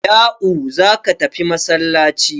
Ya'u za ka tafi masallaci!